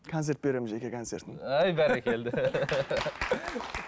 концерт беремін жеке концертімді әй бәрекелді